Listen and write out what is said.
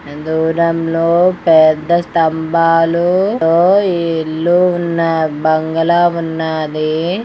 ఎందూరంలో పేద్దా స్తంభాలు ఓ ఈ ఇల్లు ఉన్న బంగ్లా ఉన్నది.